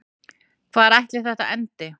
Hvar ætli þetta endi?